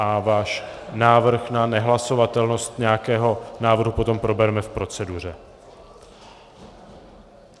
A váš návrh na nehlasovatelnost nějakého návrhu potom probereme v proceduře.